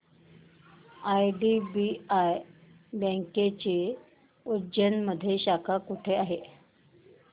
IDBI बँकेची उज्जैन मध्ये शाखा कुठे आहे